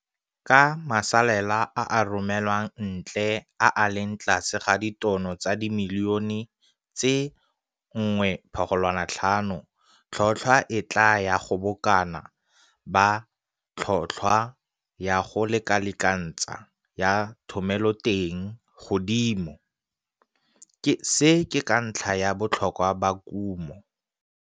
Ka masalela a a ka romelwang ntle a a leng tlase ga ditono tsa dimilione tse 1,5, tlhotlhwa e tlaa ya go bokana ba tlhotlhwa ya go lekalekantsha ya thomeloteng, godimo, ke ka ntlha ya botlhokwa ba kumo.